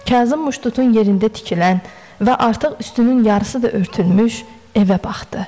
Kazım muştutun yerində tikilən və artıq üstünün yarısı da örtülmüş evə baxdı.